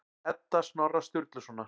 Edda Snorra Sturlusonar.